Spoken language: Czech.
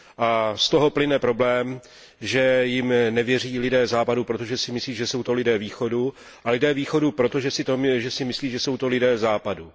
A z toho plyne problém, že jim nevěří lidé Západu, protože si myslí, že jsou to lidé Východu, a lidé Východu proto, že si myslí, že jsou to lidé Západu.